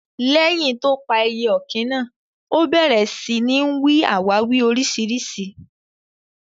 Leyin tó pà èyẹ òkín náà, ó bèrè sí ní n wí àwàwí oríṣiríṣi.